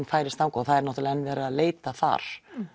færist þangað það er náttúrulega enn verið að leita þar